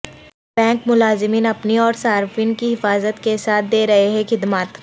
bank ملازمین اپنی اور صارفین کی حفاظت کے ساتھ دے رہے ہیں خدمات